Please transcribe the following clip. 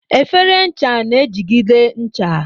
Efere ncha na-ejigide ncha.